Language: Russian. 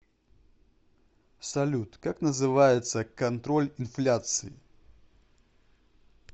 салют как называется контроль инфляции